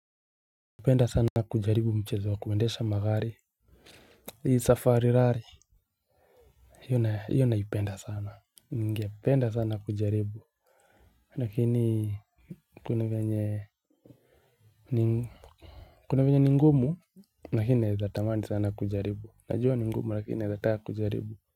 Napenda sana kujaribu mchezo wa kuendesha magari. Hii safari rally hio naipenda sana ningependa sana kujaribu, lakini kuna vyenye. Kuna vyenye ni ngumu lakini naweza tamani sana kujaribu. Najua ni ngumu lakini naweza taka kujaribu.